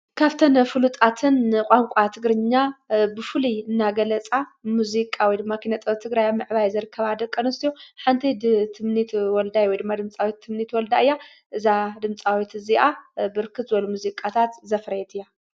ካፍተነ ፍሉጣትን ቛንቋ ትግርኛ ብፉል እናገለጻ ሙዚቃ ወድማ ኪነጠብ ትግራ ያ ምዕባይ ዘርከባ ደቀኖስትዩ ሓንተይ ድምፃዊ ትምኒት ወልዳይ ወድማ ድምጻዊት ትምኒት ወልዳ እያ እዛ ድምጻዊት እዚኣ ብርክጽወል ሙዚቃታት ዘፈረየት እያ።